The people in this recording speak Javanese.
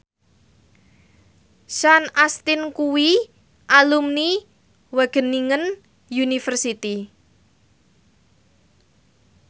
Sean Astin kuwi alumni Wageningen University